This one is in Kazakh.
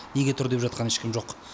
неге тұр деп жатқан ешкім жоқ